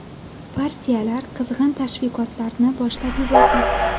Partiyalar qizg‘in tashviqotlarni boshlab yubordi.